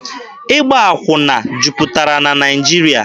Ịgba akwụna jupụtara na Naịjirịa.